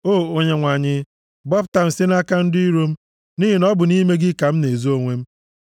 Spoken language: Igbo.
O Onyenwe anyị, gbapụta m site nʼaka ndị iro m, nʼihi na ọ bụ nʼime gị ka m na-ezo onwe m.